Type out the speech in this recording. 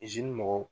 mɔgɔw